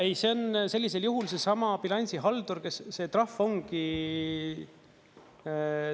Ei, see on sellisel juhul seesama bilansihaldur, kes, see trahv ongi ...